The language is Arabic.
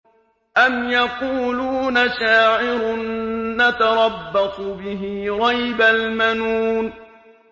أَمْ يَقُولُونَ شَاعِرٌ نَّتَرَبَّصُ بِهِ رَيْبَ الْمَنُونِ